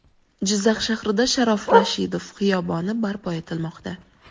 Jizzax shahrida Sharof Rashidov xiyoboni barpo etilmoqda.